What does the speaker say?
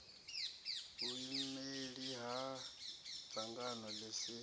vhuimeli ha dzangano ḽi si